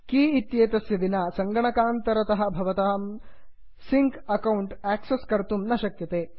की इत्येतस्य विना सङ्गणकान्तरतः भवतां सिङ्क् अकौण्ट् आक्सस् कर्तुं न शक्यते